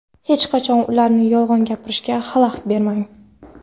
hech qachon ularni yolg‘on gapirishiga xalaqit bermang!.